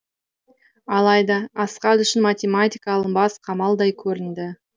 алайда асхат үшін математика алынбас қамалдай көрінді